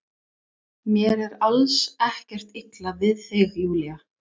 Mér er alls ekkert illa við þig Júlía.